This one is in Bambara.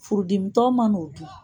Furudimitɔ ma n'o dun